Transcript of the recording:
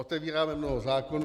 Otevíráme mnoho zákonů.